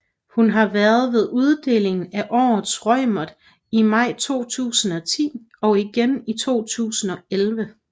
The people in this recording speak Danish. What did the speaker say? Hun var vært ved uddelingen af Årets Reumert i maj 2010 og igen i 2011